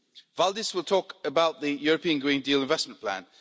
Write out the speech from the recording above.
Valdis will talk about the European Green Deal investment plan.